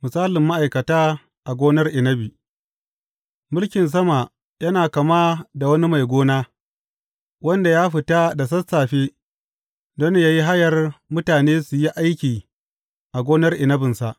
Misalin ma’aikata a gonar inabi Mulkin sama yana kama da wani mai gona, wanda ya fita da sassafe don yă yi hayar mutane su yi aiki a gonar inabinsa.